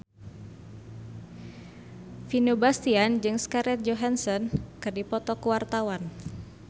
Vino Bastian jeung Scarlett Johansson keur dipoto ku wartawan